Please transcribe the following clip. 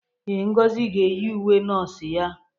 Ee, Ngozi ga-eyi uwe nọọsụ ya.